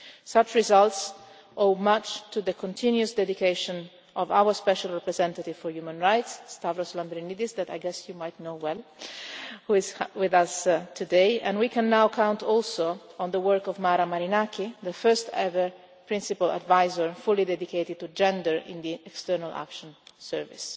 Such results owe much to the continuous dedication of our special representative for human rights, Stavros Lambrinidis, who I imagine you know well and who is with us today, and we can now count also on the work of Mara Marinaki, the first ever principal adviser fully dedicated to gender in the External Action Service.